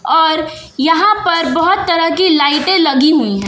और यहां पर बहुत तरह की लाइटें लगी हुई हैं।